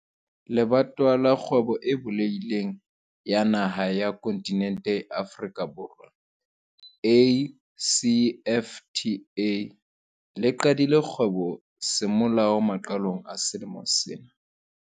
Le batowa la Kgwebo e Bulehi leng ya Dinaha tsa Kontinente ya Afrika, ACFTA, le qadileng kgwebo semolao maqalong a selemo sena.